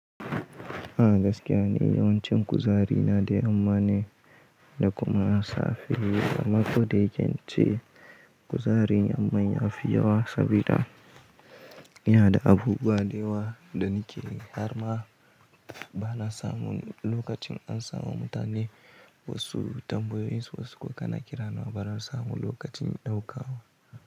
Ah gaskiya ni yawancin kuzarina dai amma de da kuma a safe. Amma ko da yaken ce kuzarin amman ya fi yawa saboda yana da abubuwa da yawa da nike karba bana samu lokacin an samu mutane wasu tambayoyin su wasu kuma kana kira na ba na samun lokacin na ɗauka ba.